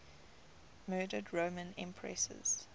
murdered roman empresses